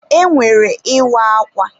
E nwere Ịwa akwa.